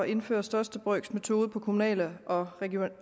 indføre største brøks metode ved kommunale og